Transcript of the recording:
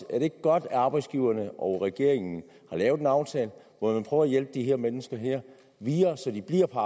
er det ikke godt at arbejdsgiverne og regeringen har lavet en aftale hvor man prøver at hjælpe de her mennesker videre så de bliver på